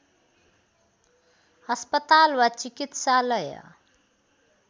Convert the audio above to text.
अस्पताल वा चिकित्सालय